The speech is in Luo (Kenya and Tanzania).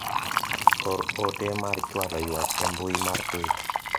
or ote mar chwalo ywak e mbui mar twita